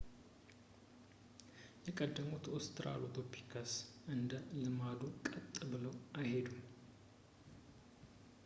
የቀደሙት ኦስትራሎፒተከስ እንደ ልማዱ ቀጥ ብለው አልሄዱም